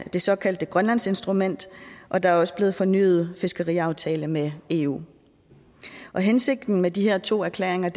det såkaldte grønlandsinstrument og der er også blevet fornyet en fiskeriaftale med eu hensigten med de her to erklæringer er